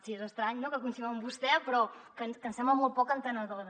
sí és estrany no que coincidim amb vostè però que ens sembla molt poc entenedora